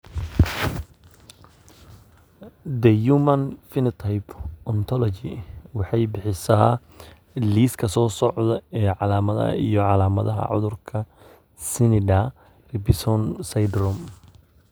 The Human Phenotype Ontology waxay bixisaa liiska soo socda ee calaamadaha iyo calaamadaha cudurka Snyder Robinson syndrome.